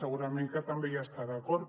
segurament que també hi està d’acord